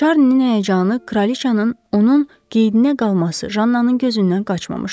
Şarninin həyəcanı, Kraliçanın onun qeydinə qalması Jannenın gözündən qaçmamışdı.